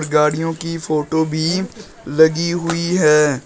गाड़ियों की फोटो भी लगी हुई है।